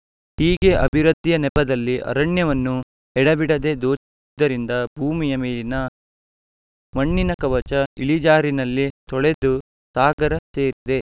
ಹೀಗೆ ಅಭಿವೃದ್ಧಿಯ ನೆಪದಲ್ಲಿ ಅರಣ್ಯವನ್ನು ಎಡಬಿಡದೆ ದೋಚಿದ್ದರಿಂದ ಭೂಮಿಯ ಮೇಲಿನ ಮಣ್ಣಿನ ಕವಚ ಇಳಿಜಾರಿನಲ್ಲಿ ತೊಳೆದು ಸಾಗರ ಸೇರಿದೆ